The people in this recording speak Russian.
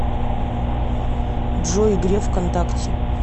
джой греф вконтакте